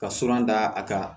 Ka sura da a kan